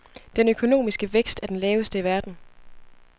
Den økonomiske vækst er den laveste i verden.